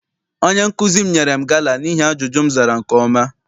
Onye nkụzi m nyere m gala n'ihi ajụjụ ahụ m zara nke ọma.